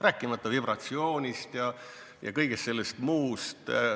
Rääkimata vibratsioonist ja kõigest sellest muust.